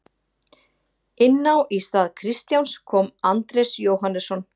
Inná í stað Kristjáns kom Andrés Jóhannesson.